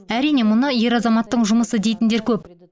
әрине мұны ер азаматтың жұмысы дейтіндер көп